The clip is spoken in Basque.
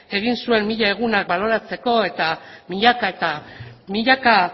egin zuen mila eguna baloratzeko eta milaka eta milaka